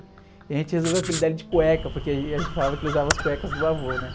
E a gente resolveu apelidá-lo de cueca, porque a gente falava que ele usava as cuecas do avô, né?